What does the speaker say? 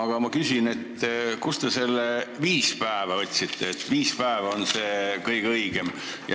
Aga ma küsin, kust te need viis päeva võtsite, miks viis päeva on see kõige õigem.